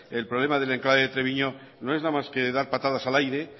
el problema del enclave de treviño no es nada más que dar patadas al aire